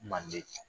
Manden